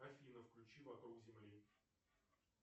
афина включи вокруг земли